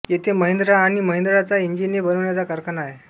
येथे महिंद्रा आणि महिंद्रा चा इंजिने बनवण्याचा कारखाना आहे